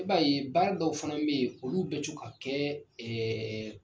I b'a ye baara dɔw fana bɛ yen olu bɛ to ka kɛ ɛɛ